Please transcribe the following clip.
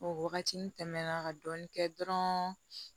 O waagati tɛmɛna ka dɔɔnin kɛ dɔrɔn